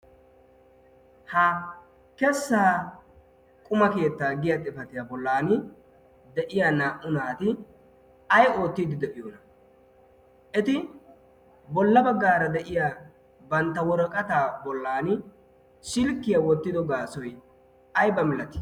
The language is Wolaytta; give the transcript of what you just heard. ha kessa quma keettaa giya xifatiyaa bollan de7iya naa77u naati ai oottiidi de7iyoona. eti bolla baggaara de7iya bantta woraqataa bollan silkkiyaa wottido gaasoi aiba milati?